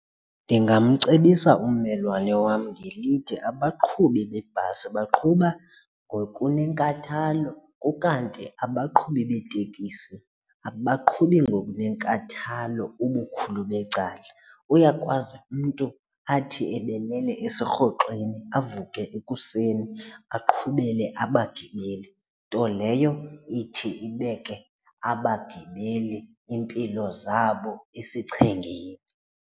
Ndingamcebisa ummelwane wam ngelithi, abaqhubi beebhasi baqhuba ngokunenkathalo ukanti abaqhubi beetekisi abaqhubi ngokunenkathalo ubukhulu becala. Uyakwazi umntu athi ebelele esirhoxweni avuke ekuseni aqhubele abagibeli, nto leyo ithi ibeke abagibeli iimpilo zabo esichengeni.